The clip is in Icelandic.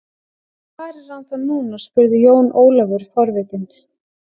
Hvar er hann þá núna spurði Jón Ólafur forvitinn.